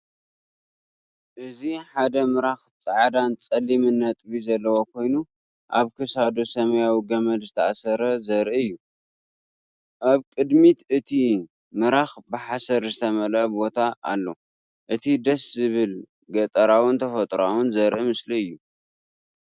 እዚ ሓደ ምራክ ጻዕዳን ጸሊምን ነጥቢ ዘለዎ ኮይኑ፡ ኣብ ክሳዱ ሰማያዊ ገመድ ዝተኣስረ ዘርኢ እዩ። ኣብ ቅድሚ እቲ ምራክ ብሓሰር ዝተመልአ ቦታ ኣሎ። እቲ ደስ ዝብል ገጠራውን ተፈጥሮኣውን ዘርኢ ምስሊ እዩ።